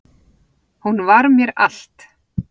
Hún var mér allt